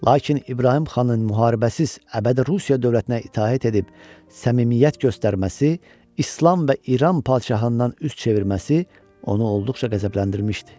Lakin İbrahim xanın müharibəsiz əbədi Rusiya dövlətinə itaət edib səmimiyyət göstərməsi, İslam və İran padşahından üz çevirməsi onu olduqca qəzəbləndirmişdi.